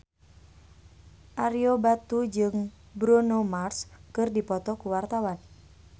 Ario Batu jeung Bruno Mars keur dipoto ku wartawan